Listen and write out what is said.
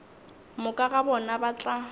moka ga bona ba tla